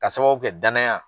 Ka sababu kɛ danaya.